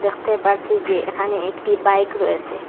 দেখতে পারছি যে এখানে একটি বাইক রয়েসে।